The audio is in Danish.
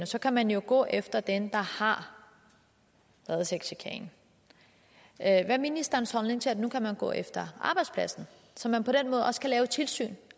så kan man jo gå efter den der har lavet sexchikanen hvad er ministerens holdning til at man nu kan gå efter arbejdspladsen så man på den måde også kan lave et tilsyn